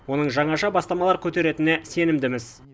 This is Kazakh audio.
оның жаңаша бастамалар көтеретініне сенімдіміз